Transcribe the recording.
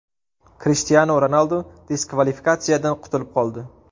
Krishtianu Ronaldu diskvalifikatsiyadan qutulib qoldi.